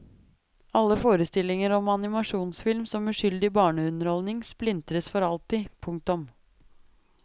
Alle forestillinger om animasjonsfilm som uskyldig barneunderholdning splintres for alltid. punktum